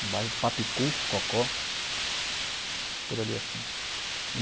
no bairro Papicu, Cocó, por ali assim.